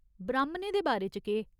ब्राह्मणें दे बारे च केह् ?